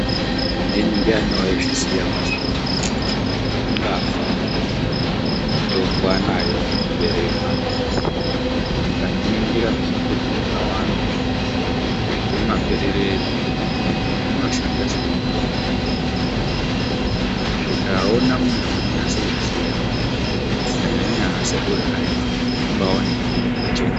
Ndiyani waizviya kuti ungafa mitombo anayo muberere mwake. Ukazviningira zvimumbuti zvakawanda zviri mumaberere edu, zvinoshanda semitombo. Zvikaona munthu unonyatsokuziya, kunyanya nyanya anasekuru ekaretu, unenge waona mutombo pachena.